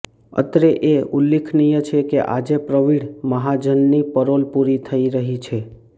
અત્રે એ ઉલ્લેખનીય છે કે આજે પ્રવીણ મહાજનની પેરોલ પુરી થઈ રહી છે